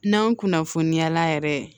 N'anw kunnafoniya la yɛrɛ